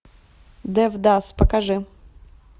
девдас покажи